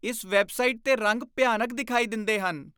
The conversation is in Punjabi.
ਇਸ ਵੈੱਬਸਾਈਟ 'ਤੇ ਰੰਗ ਭਿਆਨਕ ਦਿਖਾਈ ਦਿੰਦੇ ਹਨ।